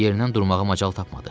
Yerindən durmağa macal tapmadı.